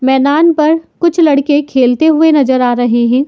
मैदान पर कुछ लड़के खेलते हुए नजर आ रहे हैं।